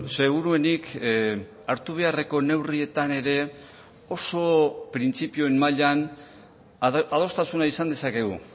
seguruenik hartu beharreko neurrietan ere oso printzipioen mailan adostasuna izan dezakegu